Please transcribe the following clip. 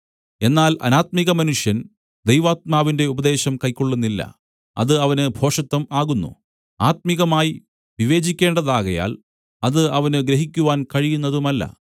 എന്നാൽ അനാത്മികമനുഷ്യൻ ദൈവാത്മാവിന്റെ ഉപദേശം കൈക്കൊള്ളുന്നില്ല അത് അവന് ഭോഷത്തം ആകുന്നു ആത്മികമായി വിവേചിക്കേണ്ടതാകയാൽ അത് അവന് ഗ്രഹിക്കുവാൻ കഴിയുന്നതുമല്ല